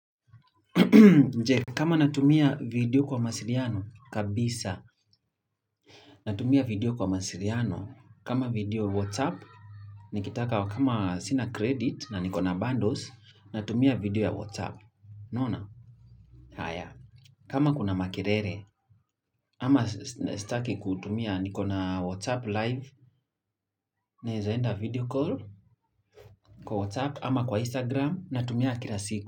Je kama natumia video kwa mawasiliano kabisa natumia video kwa mawasiliano kama video WhatsApp nikitaka kama sina credit na niko na bundles natumia video ya WhatsApp. Naona? Haya. Kama kuna makelele ama sitaki kutumia niko na WhatsApp live na naeza enda video call kwa WhatsApp ama kwa Instagram natumia kila siku.